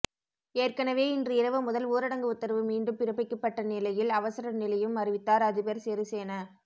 ஏற்கனவே இன்று இரவு முதல் ஊரடங்கு உத்தரவு மீண்டும் பிறப்பிக்கப்பட்ட நிலையில் அவசர நிலையும் அறிவித்தார் அதிபர் சிறிசேன